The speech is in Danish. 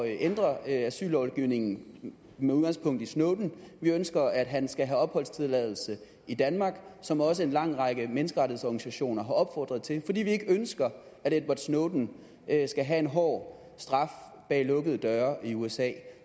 ændre asyllovgivningen med udgangspunkt i snowden vi ønsker at han skal have opholdstilladelse i danmark som også en lang række menneskerettighedsorganisationer har opfordret til fordi vi ikke ønsker at edward snowden skal have en hård straf bag lukkede døre i usa